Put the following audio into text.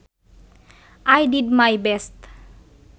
I did my best